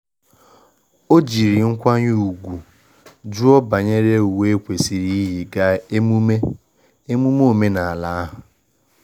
O jiri nkwanye ugwu jụọ banyere uwe ekwesịrị iyi gaa emume emume omenala ahụ.